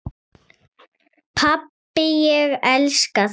Pabbi, ég elska þig.